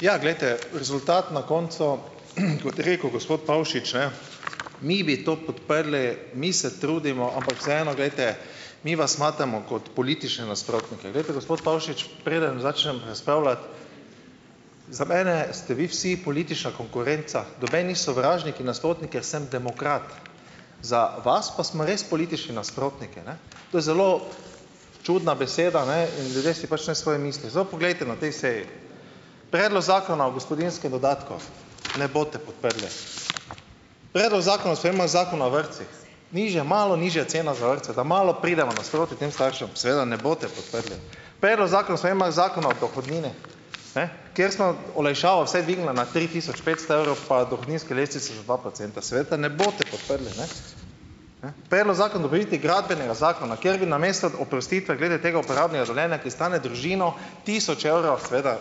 Ja, glejte. Rezultat na koncu, kot je rekel gospod Pavšič, ne: "Mi bi to podprli, mi se trudimo, ampak vseeno, glejte, mi vas smatramo kot politične nasprotnike." Glejte, gospod Pavšič, preden začnem razpravljati, za mene ste vi vsi politična konkurenca. Noben ni sovražnik in nasprotnik, jaz sem demokrat. Za vas pa smo res politični nasprotniki, ne. To je zelo čudna beseda, ne, in ljudje si pač naj svoje mislijo. Zdaj pa poglejte na tej seji. Predlog zakona o gospodinjskem dodatku. Ne boste podprli. Predlog zakona o spremembah Zakona o vrtcih. Nižja, malo nižja cena za vrtce. Da malo pridemo nasproti tem staršem. Seveda ne boste podprli. Predlog zakona o spremembah Zakona o dohodnini. Kjer smo olajšavo vsaj dvignili na tri tisoč petsto evrov pa dohodninsko lestvico za dva procenta. Seveda ne boste podprli, ne. Predlog zakona dopolnitvi Gradbenega zakona, kjer bi namesto oprostitve glede tega uporabnega dovoljenja, ki stane družino tisoč evrov seveda,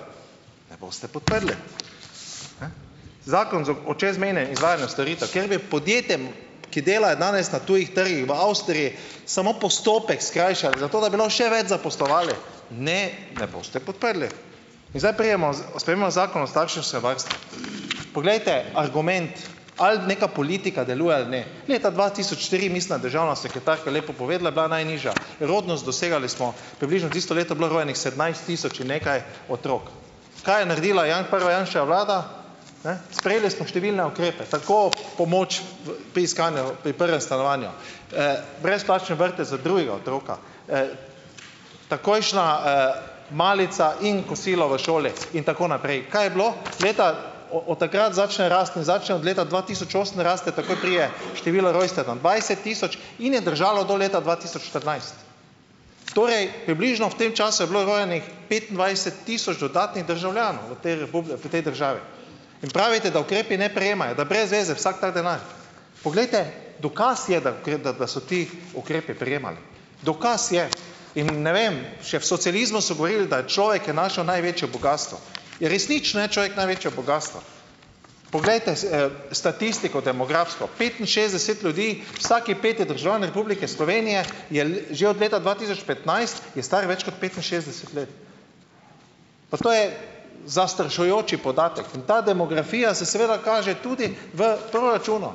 ne boste podprli. Zakon o čezmejnem izvajanju storitev. Kjer bi podjetjem, ki delajo danes na tujih trgih v Avstriji, samo postopek skrajšali, zato da bi lahko še več zaposlovali. Ne, ne boste podprli. In zdaj pridemo o spremembah Zakona o starševskem varstvu. Poglejte, argument, ali neka politika deluje ali ne. Leta dva tisoč tri, mislim, da je državna sekretarka lepo povedala. Je bila najnižja rodnost, dosegali smo približno, tisto leto je bilo rojenih sedemnajst tisoč in nekaj otrok. Kaj je naredila prva Janševa vlada? Ne. Sprejeli smo številne ukrepe. Tako pomoč v pri iskanju pri prvem stanovanju. Brezplačni vrtec za drugega otroka. Takojšnja malica in kosilo v šoli. In tako naprej. Kaj je bilo? Leta o od takrat začne rasti. In začne od leta dva tisoč osem raste, takoj pride število rojstev na dvajset tisoč in je držalo do leta dva tisoč štirinajst. Torej približno v tem času je bilo rojenih petindvajset tisoč dodatnih državljanov v tej v tej državi. In pravite, da ukrepi ne prijemajo. Da brez veze vsak ta denar. Poglejte, dokaz je, da da da so ti ukrepi prijemali. Dokaz je. In ne vem, še v socializmu so govorili, da je človek je naša največje bogastvo. In resnično je človek največje bogastvo. Poglejte, statistiko demografsko. Petinšestdeset ljudi, vsak peti državljan Republike Slovenije je že od leta dva tisoč petnajst je star več kot petinšestdeset let. Pa to je zastrašujoč podatek. In ta demografija se seveda kaže tudi v proračunu.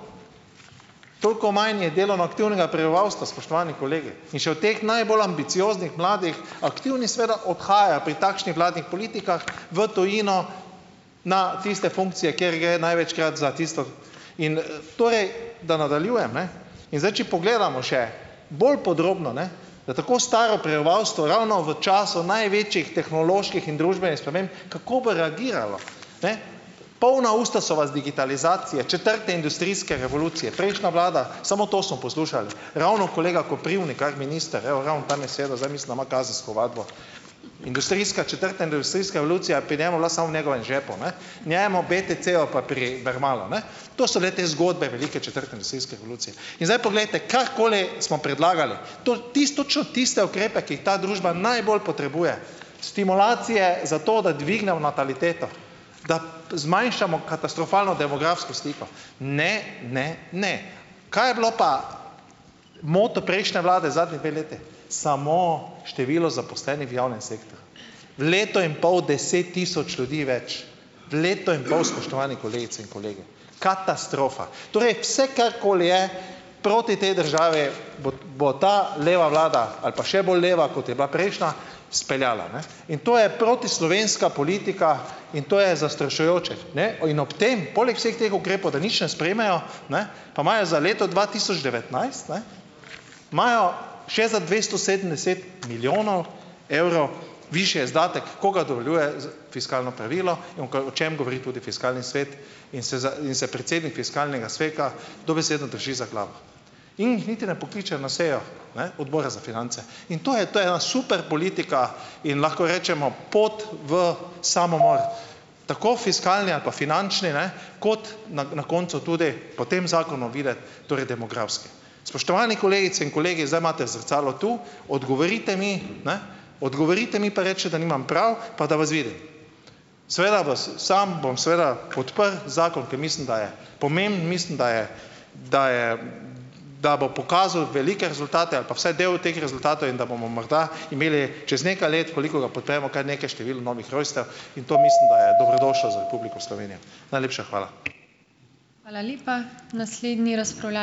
Toliko manj je delovno aktivnega prebivalstva, spoštovani kolegi. In še od teh najbolj ambicioznih mladih, aktivni seveda odhajajo pri takšnih vladnih politikah v tujino na tiste funkcije, kjer gre največkrat za tisto. In torej, da nadaljujem, ne, in zdaj, če pogledamo še bolj podrobno, ne, da tako staro prebivalstvo ravno v času največjih tehnoloških in družbenih sprememb, kako bo reagiralo? Ne. Polna usta so vas digitalizacije, četrte industrijske revolucije, prejšnja vlada, samo to smo poslušali. Ravno kolega Koprivnikar, minister, evo, ravno tam je sedel, zdaj, mislim, da ima kazensko ovadbo. Industrijska, četrta industrijska revolucija je pri njemu bila samo v njegovem žepu, ne. Njemu, BTC-ju pa pri Mermalu, ne. To so bile te zgodbe velike četrte industrijske revolucije. In zdaj, poglejte, karkoli smo predlagali. To točno tiste ukrepe, ki jih ta družba najbolj potrebuje. Stimulacije zato, da dvignemo nataliteto. zmanjšamo katastrofalno demografsko sliko. Ne, ne, ne. Kaj je bil pa moto prejšnje vlade zadnji dve leti? Samo število zaposlenih v javnem sektorju. V letu in pol deset tisoč ljudi več. V letu in pol, spoštovani kolegice in kolegi. Katastrofa. Torej vse, karkoli je proti tej državi, bot bo ta leva vlada ali pa še bolj leva, kot je bila prejšnja speljala, ne. In to je protislovenska politika. In to je zastrašujoče. Ne. In ob tem poleg vseh teh ukrepov, da nič ne sprejmejo, ne, pa imajo za leto dva tisoč devetnajst, ne, imajo še za dvesto sedemdeset milijonov evrov višje izdatke, ko ga dovoljuje z fiskalno pravilo, in oka, o čem govori tudi fiskalni svet, in se za in se predsednik fiskalnega sveta dobesedno drži za glavo. In jih niti ne pokličejo na sejo, ne, odbora za finance. In to je to je ena super politika in lahko rečemo pot v samomor, tako fiskalni ali pa finančni, ne, kot ne na koncu tudi, po tem zakonu viden, torej demografski. Spoštovani kolegice in kolegi, zdaj imate zrcalo tu. Odgovorite mi, ne. Odgovorite mi pa recite, da nimam prav, pa da vas vidim. Seveda vas, sam bom seveda podprl zakon, ker mislim, da je pomemben, mislim, da je, da je da bo pokazal velike rezultate, ali pa vsaj del teh rezultatov in da bomo morda imeli čez nekaj let, koliko ga podpremo, kar nekaj število novih rojstev. In to mislim, da je dobrodošlo za Republiko Slovenijo. Najlepša hvala.